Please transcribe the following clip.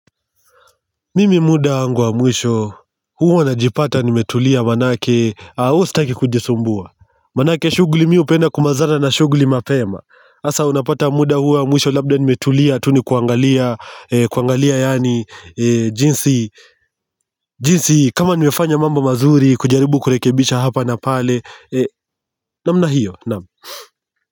Mimi muda wangu wa mwisho huwa najipata nimetulia manake huwa sitaki kujisumbua manake shughuli mi hupenda kumalizana na shughuli mapema hasa unapata muda huu wa mwisho labda nimetulia tu nikuangalia kuangalia yaani jinsi jinsi kama nimefanya mambo mazuri kujaribu kurekebisha hapa na pale namna hiyo, naam.